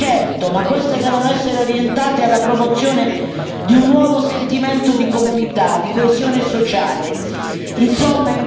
Servono risorse, certo, ma queste devono essere orientate alla promozione di un nuovo sentimento di comunità, di coesione sociale.